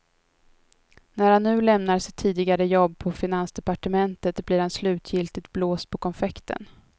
När han nu lämnar sitt tidigare jobb på finansdepartementet blir han slutgiltigt blåst på konfekten.